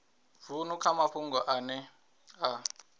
vunu kha mafhungo ane a